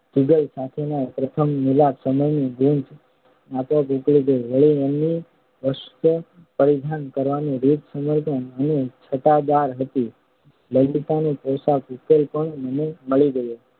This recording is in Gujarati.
જુગલ સાથેના પ્રથમ મિલાપ સમયની ગૂંચ આપોઆપ ઉકલી ગઈ. વળી એમની વસ્ત્રપરિધાન કરવાની રીત સપ્રમાણ અને છટાદાર હતી. લલિતા ના પોશાકનો ઉકેલ પણ મને મળી ગયો